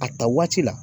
A ta waati la